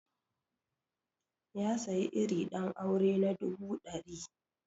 Ya sayi iri ɗan aure na dubu ɗari